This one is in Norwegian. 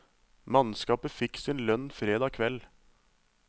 Mannskapet fikk sin lønn fredag kveld.